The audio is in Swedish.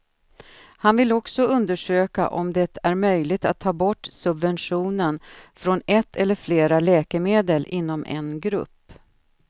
Han vill också undersöka om det är möjligt att ta bort subventionen från ett eller flera läkemedel inom en grupp.